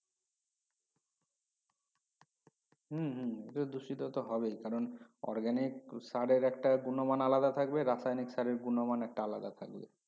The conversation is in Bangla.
হম হম দূষিত তো হবেই কারণ organic সারের একটা গুনো মান আলাদা থাকবে রাসায়নিক রাসের গুনো মান একটা আলাদা থাকবে